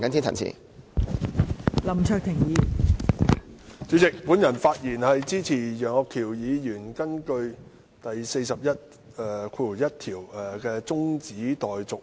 代理主席，我發言支持楊岳橋議員根據《議事規則》第401條動議的中止待續議案。